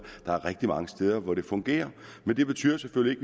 der er rigtig mange steder hvor det fungerer men det betyder selvfølgelig